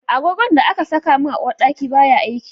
Agogon da aka saka min a uwarɗaki baya aiki